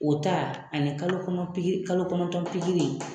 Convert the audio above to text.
O ta ani kalo kɔnɔ kalo kɔnɔntɔn pikiri